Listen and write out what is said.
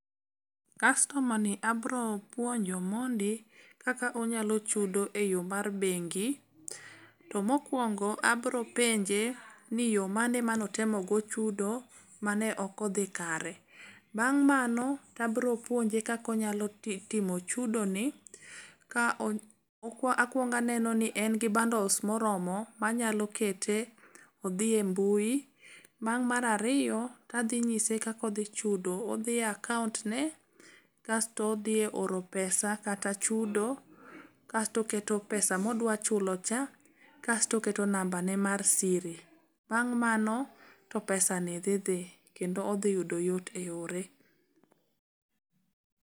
Kastoma ni abro puonjo mondi kaka onyalo chudo e yo mar bengi, to mokwongo abropenje ni yo mane manotemogo chudo ma ne ok odhi kare. Bang' mano tabropuonje kaka onyalo timo chudone ka akwongo aneno ni en gi bundles moromo manyalo kete odhi e mbui. Mar ariyo adhi nyise kaka odhi chudo, odhi e akaontne kasto odhi e oro pesa kata chudo, kasto oketo pesa modwachulo cha kasto oketo nambane mar siri. Bang' mano to pesani dhi dhi kendo odhiyudo yot e ore.